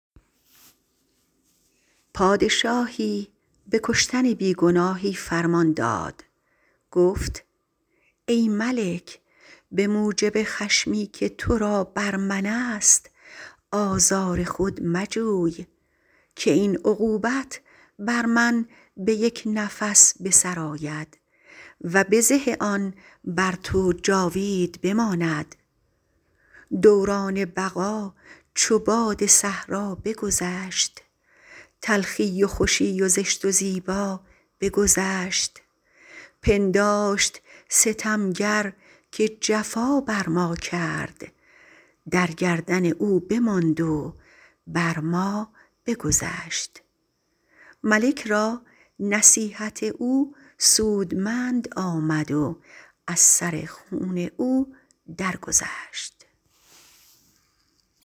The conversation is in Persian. پادشاهی به کشتن بی گناهی فرمان داد گفت ای ملک به موجب خشمی که تو را بر من است آزار خود مجوی که این عقوبت بر من به یک نفس به سر آید و بزه آن بر تو جاوید بماند دوران بقا چو باد صحرا بگذشت تلخی و خوشی و زشت و زیبا بگذشت پنداشت ستمگر که جفا بر ما کرد در گردن او بماند و بر ما بگذشت ملک را نصیحت او سودمند آمد و از سر خون او در گذشت